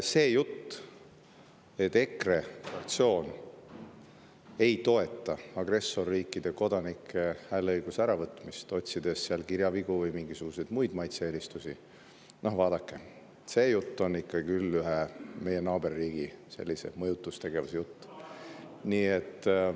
See jutt, et EKRE fraktsioon ei toeta agressorriikide kodanikelt hääleõiguse äravõtmist, otsides kirjavigu või mingisuguseid maitse-eelistusi, vaadake, see jutt on ikka küll ühe meie naaberriigi mõjutustegevuse jutt.